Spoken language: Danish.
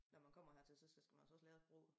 Når man kommer hertil så skal man altså også lære sprog